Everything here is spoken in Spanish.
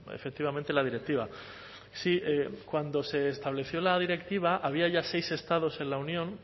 efectivamente la directiva sí cuando se estableció la directiva había ya seis estados en la unión